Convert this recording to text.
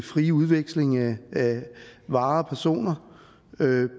frie udveksling af varer og personer